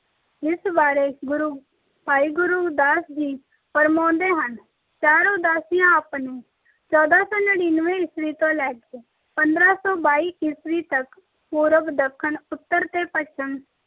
ਜਿਸ ਬਾਰੇ ਭਾਈ ਗੁਰਦਾਸ ਜੀ ਫੁਰਮਾਉਂਦੇ ਹਨ-ਚਾਰ ਉਦਾਸੀਆਂ ਆਪ ਨੇ ਚੋਦਾਂ ਸੌ ਨੜਿਨਵੇ ਈਸਵੀਂ ਤੋਂ ਲੈ ਕੇ ਪੰਦਰਾਂ ਸੌ ਬਾਈ ਈਸਵੀ ਤੱਕ ਪੂਰਬ, ਦੱਖਣ, ਉੱਤਰ ਤੇ ਪੱਛਮ